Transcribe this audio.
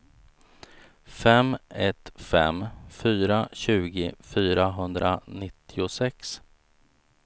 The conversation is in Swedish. fem ett fem fyra tjugo fyrahundranittiosex